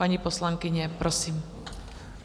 Paní poslankyně, prosím.